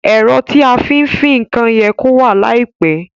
Èro tí a fí n fin nkan ye kó wà láìpe